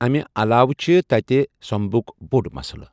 امہ علاوٕ چھِ تٔتہِ سیوٚمبُک بوٚڑ مسلہٕ۔